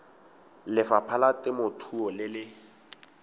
lefapha la temothuo le le